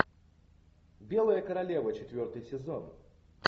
белая королева четвертый сезон